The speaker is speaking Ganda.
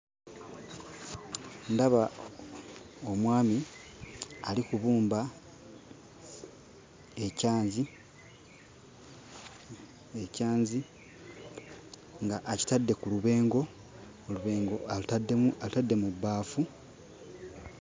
Ndaba omwami ali kubumba ekyanzi ekyanzi ng'akitadde ku lubengo olubengo alutadde mu alutadde mu bbaafu.